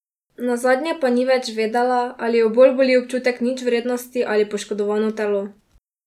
Nazadnje pa ni več vedela, ali jo bolj boli občutek ničvrednosti ali poškodovano telo.